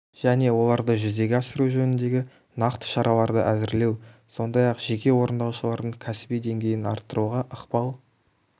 және оларды жүзеге асыру жөніндегі нақты шараларды әзірлеу сондай-ақ жеке орындаушылардың кәсіби деңгейін арттыруға ықпал